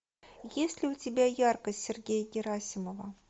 есть ли у тебя яркость сергея герасимова